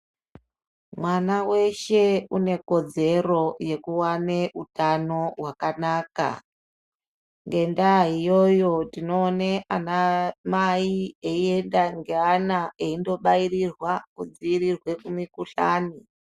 Mwana weshe une ikodzero yekuwana utano wakanaka. Ngendaa iyoyo tinoone ana mai aienda neana aindobairirwa kidziirirwe kumikuhlani.